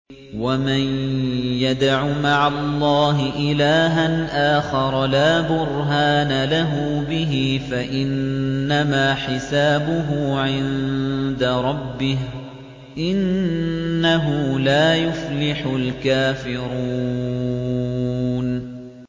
وَمَن يَدْعُ مَعَ اللَّهِ إِلَٰهًا آخَرَ لَا بُرْهَانَ لَهُ بِهِ فَإِنَّمَا حِسَابُهُ عِندَ رَبِّهِ ۚ إِنَّهُ لَا يُفْلِحُ الْكَافِرُونَ